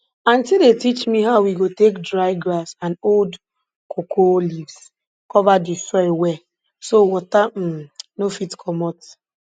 auntie dey teach we how we go take dry grass and old cocoa leaves cover di soil well so water um no fit comot